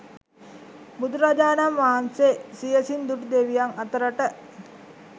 බුදුරජාණන් වහන්සේ සියැසින් දුටු දෙවියන් අතරට